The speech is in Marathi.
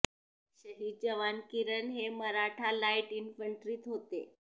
शहीद जवान किरण हे मराठा लाईट इंन्फ्रंट्रीत होते